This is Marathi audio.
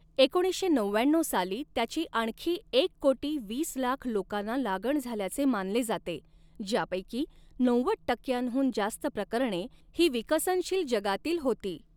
एकोणीसशे नवव्याण्णऊ साली त्याची आणखी एक कोटी वीस लाख लोकांना लागण झाल्याचे मानले जाते, ज्यापैकी नव्वद टक्क्यांहून जास्त प्रकरणे ही विकसनशील जगातील होती.